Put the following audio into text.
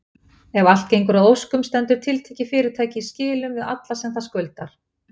Ef allt gengur að óskum stendur tiltekið fyrirtæki í skilum við alla sem það skuldar.